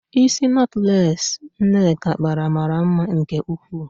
Ísí nọtlees Nneka kpara mara mma nke ukwuu.